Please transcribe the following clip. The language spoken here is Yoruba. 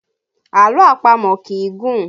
Àlọ́ àpamọ̀ kì í gùn